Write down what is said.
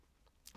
TV 2